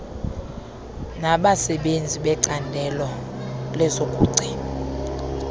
nabasenzi becandelo lokugcinwa